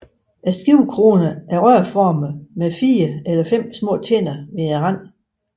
Skivekronerne er rørformede med 4 eller 5 små tænder ved randen